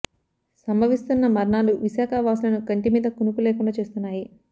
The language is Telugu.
సంభవి స్తున్న మరణాలు విశాఖ వాసులను కంటిమీద కునుకు లేకుండా చేస్తున్నాయి